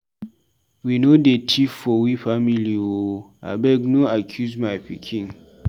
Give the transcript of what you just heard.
Wey no dey tif for we family o, abeg no accuse my pikin.